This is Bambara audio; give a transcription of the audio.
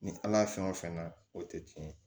Ni ala fɛn o fɛn na o tɛ tiɲɛ ye